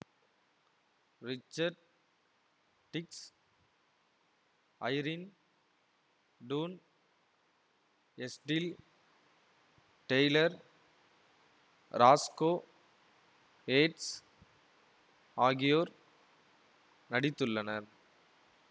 Richard Dix Irene Dunne Estelle Taylor Roscoe Ates ஆகியோர் நடித்துள்ளனர்